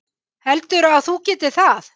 Heldurðu að þú getir það?